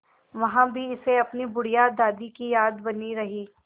वहाँ भी इसे अपनी बुढ़िया दादी की याद बनी रही